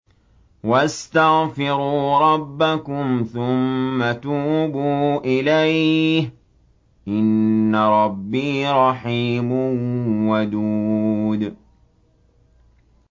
وَاسْتَغْفِرُوا رَبَّكُمْ ثُمَّ تُوبُوا إِلَيْهِ ۚ إِنَّ رَبِّي رَحِيمٌ وَدُودٌ